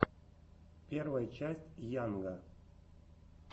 первая часть йанга